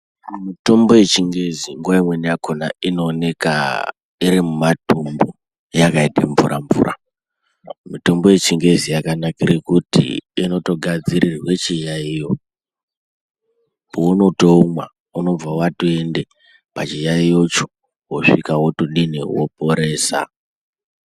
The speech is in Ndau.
Mitombo yechingezi nguwa imweni akhona inooneka iri mimatumbu yakaite mvura mvura. Mitombo yechingezi yakanikire kuti inotogadzirirwe chiyaiyo. Paunotoumwa inobva yatoende pachiyaiyocho yotoporesa.